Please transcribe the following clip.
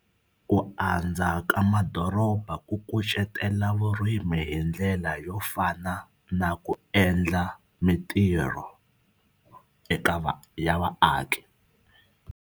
Ku andza ka madoroba ku kucetela vurimi hi ndlela yo fana na ku endla mitirho eka va ya vaaki.